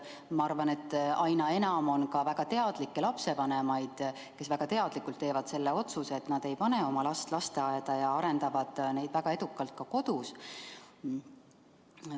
Ma arvan, et aina enam on ka selliseid lapsevanemaid, kes väga teadlikult teevad selle otsuse, et nad ei pane oma last lasteaeda ja arendavad neid väga edukalt ka kodus.